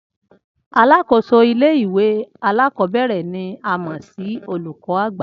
Alákòóso ilé ìwé alákò̩ó̩bè̩rè̩ ni a mò̩ sí olùkó̩ àgbà